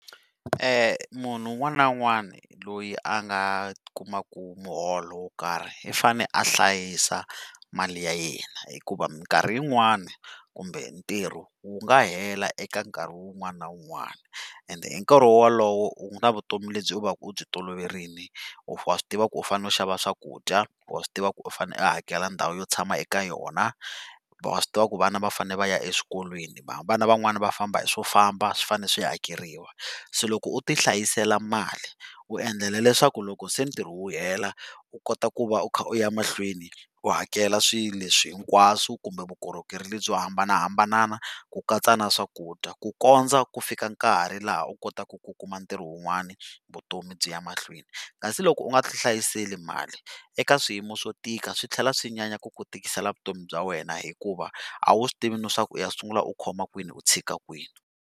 Munhu un'wani na un'wani loyi a nga kumaka muholo wo karhi i fanele a hlayisa mali ya yena, hikuva minkarhi yin'wani kumbe ntirho wu nga hela eka nkarhi wun'wani na wun'wani ende hinkarhi wolowo u na vutomi lebyi u va ku u byi toloverile wa swi tiva ku u fanele u xava swakudya, wa swi tiva ku u fanele u hakela ndhawu yo tshama eka yona, wa swi tiva ku vana va fanele va ya eswikolweni, vana van'wani va famba hi swo famba swi fanele swi hakeriwa. Se loko u ti hlayisela mali, u endlela leswaku loko se ntirho wu hela u kota ku va u kha u ya emahlweni u hakela swilo leswi hinkwaswo kumbe vukorhokeri lebyo hambanahambana ku katsa na swakudya, ku kondza ku fika nkarhi laha u kotaku ku kuma ntirho wun'wani vutomi byi ya emahlweni. Kasi loko u nga ti hlayiseli mali, eka swiyimo swo tika swi tlhela swi nyanya ku ku tikisela vutomi bya wena hikuva a wu swi tivi na swaku u ya sungula u khoma kwini u tshika kwini.